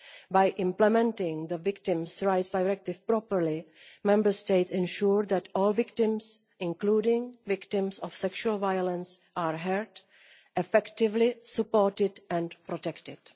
By implementing the Victims' Rights Directive properly, Member States ensure that all victims, including victims of sexual violence, are heard, effectively supported, and protected.